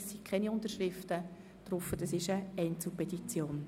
Es handelt sich dabei um eine Einzelpetition.